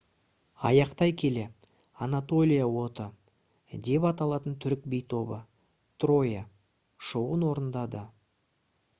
аяқтай келе «анатолия оты» деп аталатын түрік би тобы «троя» шоуын орындады